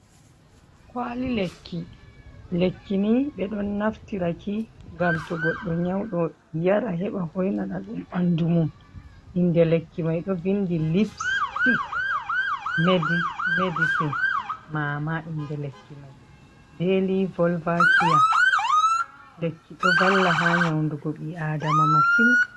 Kwaali lekki, lekki nii ɓe ɗon naftira ki ngam to goɗɗo nyawɗo yara heɓa hoynana ɗum ɓanndu mum. Innde lekki may ɗo vinndi "lypstic medicine maama" innde lekki may "daily volvakia". Lekki ɗo valla ha nyawndugo ɓii aadama masin.